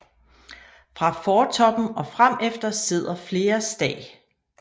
Fra fortoppen og fremefter sidder flere stag